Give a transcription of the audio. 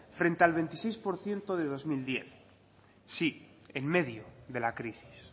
frente al veintiséis por ciento de dos mil diez sí en medio de la crisis